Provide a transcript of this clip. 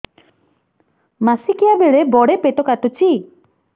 ମାସିକିଆ ବେଳେ ବଡେ ପେଟ କାଟୁଚି